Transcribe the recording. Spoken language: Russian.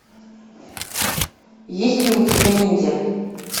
есть ли у тебя ниндзя